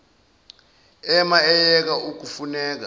ema eyeka ukuneka